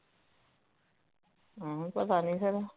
ਹਮ ਪਤਾਨੀ ਫੇਰ